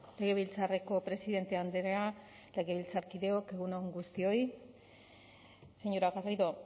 legebiltzarreko presidente andrea legebiltzarkideok egun on guztioi señora garrido